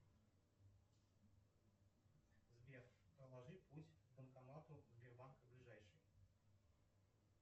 сбер проложи путь к банкомату сбербанка ближайший